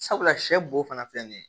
Sabula sɛ bo fana filɛ nin ye